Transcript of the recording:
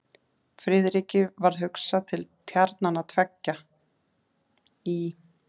Friðriki varð hugsað til tjarnanna tveggja í